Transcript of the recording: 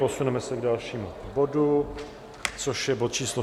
Posuneme se k dalšímu bodu, což je bod číslo